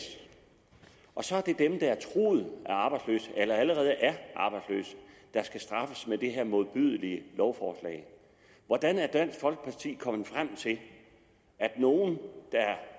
og så er det dem der er truet af arbejdsløshed eller allerede er arbejdsløse der skal straffes med det her modbydelige lovforslag hvordan er dansk folkeparti kommet frem til at nogle